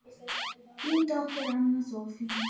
Þín dóttir, Anna Soffía.